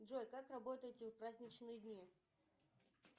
джой как работаете в праздничные дни